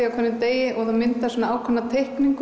á hverjum degi og það myndast ákveðin teikning